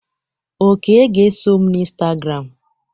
Oke ga eso m na Instagram.